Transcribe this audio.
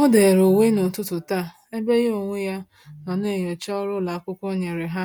O-dere uwe n'ụtụtụ taa, ebe ya onwe ya nọ na-enyocha ọrụ ụlọakwụkwọ nyere ha